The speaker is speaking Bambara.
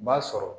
B'a sɔrɔ